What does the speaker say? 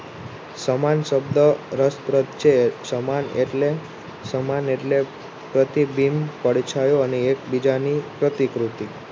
સમાન શબ્દ રસપ્રદ છે સમાન એટલે પ્રતિબીંબ પરછાયો અને એક બીજાની કરતા પ્રતિકૃતિ